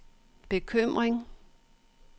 bekymring